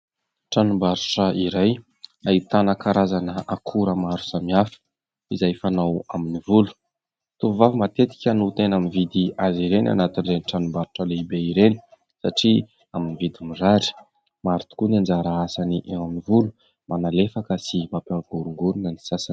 Tranombarotra iray ahitana karazana akora maro samihafa, izay fanao amin'ny volo. Ny tovovavy matetika no tena mividy azy ireny, anatin'ireny tranombarotra lehibe ireny, satria amin'ny vidiny mirary. Maro tokoa ny anjara asany amin'ny volo, manalefaka, sy mampioringorina ny sasany.